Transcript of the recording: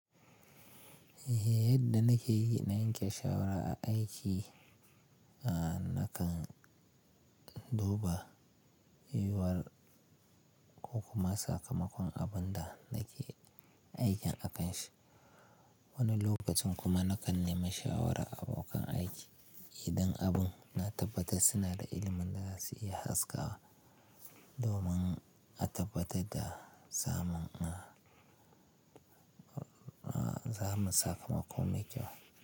Yadda na ke yi na yanke shawara a aiki, a nakan duba yuwar ko kuma sakamakon abun da nake aikin akanshi. Wani lokacin kuma na kan nemi shawara a abokan aiki idan abin na tabbata suna da ilimin da za su iya haskawa domin a tabbata da zaman, a zaman sakamako mai kyau.